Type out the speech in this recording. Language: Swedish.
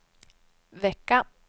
vecka